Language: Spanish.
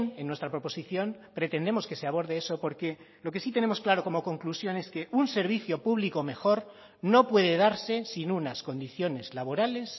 en nuestra proposición pretendemos que se aborde eso porque lo que sí tenemos claro como conclusión es que un servicio público mejor no puede darse sin unas condiciones laborales